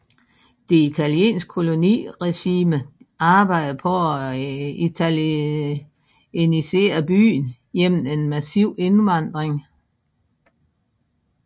Det italienske koloniregime arbejdede på at italienisere byen gennem en massiv indvandring